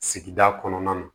Sigida kɔnɔna na